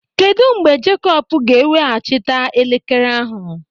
Kedụ mgbe Jakop ga-eweghachita elekere ahụ?